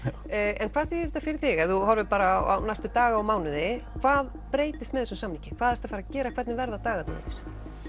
Glowie en hvað þýðir þetta fyrir þig ef þú horfir bara á næstu daga og mánuði hvað breytist með þessum samningi hvað ertu að fara að gera og hvernig verða dagarnir þínir